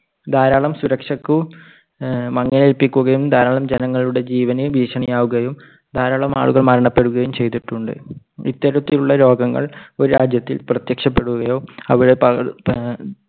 കാരണം സുരക്ഷയ്ക്ക് മങ്ങലേൽപ്പിക്കുകയും ധാരാളം ജനങ്ങളുടെ ജീവന് ഭീഷണി ആവുകയും ധാരാളമാളുകൾ മരണപ്പെടുകയും ചെയ്തിട്ടുണ്ട്. ഇത്തരത്തിലുള്ള രോഗങ്ങൾ ഒരു രാജ്യത്തിൽ പ്രത്യക്ഷപ്പെടുകയോ അവിടെ പടർന്ന് ഏർ